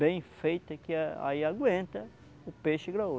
bem feita que a aí aguenta o peixe graúdo.